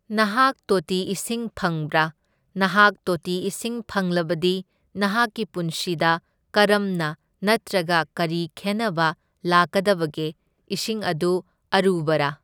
ꯅꯍꯥꯛ ꯇꯣꯇꯤ ꯏꯁꯤꯡ ꯐꯪꯕ꯭ꯔꯥ? ꯅꯍꯥꯛ ꯇꯣꯇꯤ ꯏꯁꯤꯡ ꯐꯪꯂꯕꯗꯤ ꯅꯍꯥꯛꯀꯤ ꯄꯨꯟꯁꯤꯗ ꯀꯔꯝꯅ ꯅꯠꯇ꯭ꯔꯒ ꯀꯔꯤ ꯈꯦꯟꯅꯕ ꯂꯥꯛꯀꯗꯕꯒꯦ? ꯏꯁꯤꯡ ꯑꯗꯨ ꯑꯔꯨꯕ꯭ꯔꯥ?